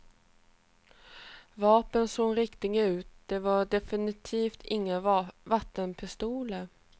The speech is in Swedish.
Vapnen såg riktiga ut, det var definitivt inga vattenpistoler.